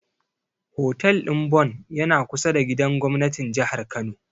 Hotel ɗin Bon yana kusa da gidan gobnatin Jihar Kano.